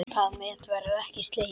Það met verður ekki slegið.